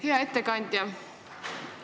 Hea ettekandja!